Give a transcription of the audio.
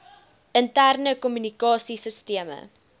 interne kommunikasie sisteme